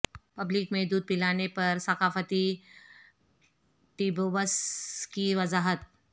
public میں دودھ پلانے پر ثقافتی ٹیبوس کی وضاحت